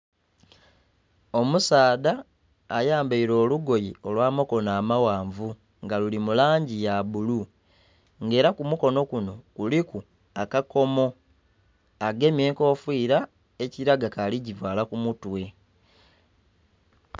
Omusaadha ayambaire olugoye olwa makono amaghanvu nga luli mu langi ya bbulu nga era ku mukonho gunho kuliku akakomo, agemye enkofira ekilaga aligivaala ku mutwe.